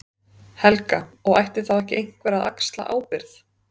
Helga: Og ætti þá ekki einhver að axla ábyrgð?